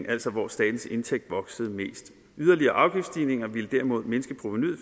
altså hvor statens indtægt voksede mest yderligere afgiftsstigninger ville derimod mindske provenuet